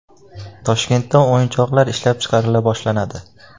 Toshkentda o‘yinchoqlar ishlab chiqarila boshlanadi.